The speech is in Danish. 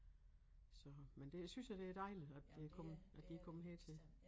Så men det synes jeg det dejligt at de kommet at de er kommet hertil